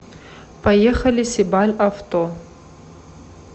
поехали сибаль авто